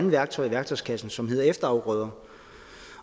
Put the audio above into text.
værktøj i værktøjskassen som hedder efterafgrøder